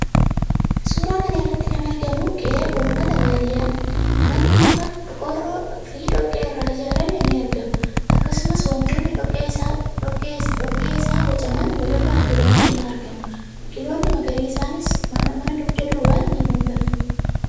Suuraa kana irratti kan argamu qe'ee uummata baadiyyaati. Manni muka, qorqorroofi dhoqqee irraa ijaarame ni argama. Akkasumas wantoonni dhoqqee isaa bocaman walirra tuulamanii argamu. Biqiloonni magariisnis mana dugda duubaan ni mul'atu.